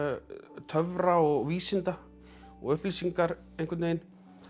töfra og vísinda og upplýsingar einhvern veginn